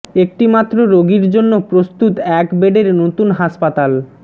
একটি মাত্র রোগীর জন্য প্রস্তুত এক বেডের নতুন হাসপাতাল